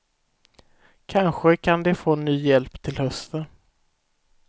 Kanske kan de få ny hjälp till hösten.